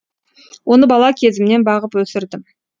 оны бала кезімнен бағып өсірдім